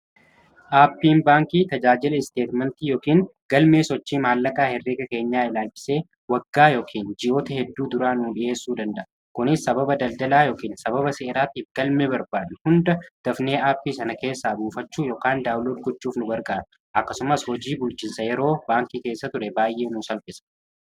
aappiin baankii tajaajila isteetmentii yookiin galmee sochii maallaqaa herrika keenyaa laalchisee waggaa yookiin ji'oota hedduu duraa nuu dhi'eessuu danda'a kunis sababa daldalaa yokn sababa se'eraattiif galmee barbaade hunda dafnee aappii sana keessaa buufachuu ykn daawlo guchuuf nu gargaara akkasumas hojii bulchinsa yeroo baankii keessa ture baay'ee nu salpisa